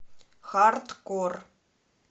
хардкор